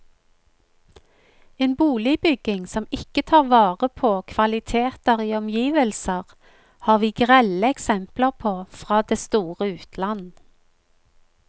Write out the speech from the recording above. En boligbygging som ikke tar vare på kvaliteter i omgivelser, har vi grelle eksempler på fra det store utland.